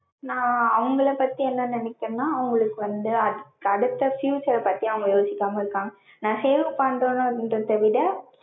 நா அவுங்கள பத்தி என்ன நெனைக்றேன்னா, அவங்களுக்கு வந்து அடுத்து future பத்தி அவங்க யோசிக்காம இருக்காங்க. நா save பன்றேன்ரத விட